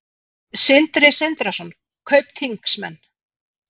Sindri Sindrason: Kaupþingsmenn?